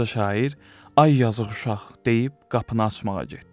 Qoca şair, ay yazıq uşaq, deyib qapını açmağa getdi.